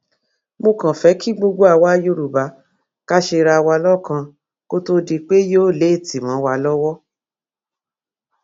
mo kàn fẹ kí gbogbo àwa yorùbá kà ṣera wa lọkan kó tóó di pé yóò léètì mọ wa lọwọ